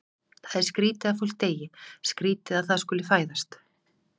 Það er skrýtið að fólk deyi, skrýtið að það skuli fæðast.